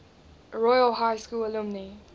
royal high school alumni